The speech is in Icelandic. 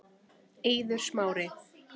Eiður Smári